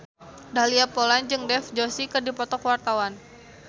Dahlia Poland jeung Dev Joshi keur dipoto ku wartawan